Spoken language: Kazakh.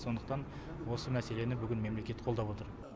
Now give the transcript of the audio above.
сондықтан осы мәселені бүгін мемлекет қолдап отыр